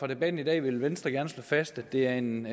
debatten i dag vil venstre gerne slå fast at det er en